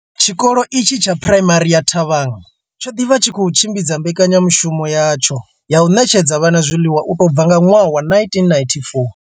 Tshikolo itshi tsha Phuraimari ya Thabang tsho ḓi vha tshi tshi khou tshimbidza mbekanya mushumo yatsho ya u ṋetshedza vhana zwiḽiwa u tou bva nga ṅwaha wa 1994.